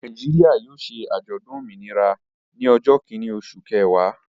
Nàìjíríà yóò ṣe àjọ̀dún òmìnira ní ọjọ́ kìíní, oṣù kẹwàá.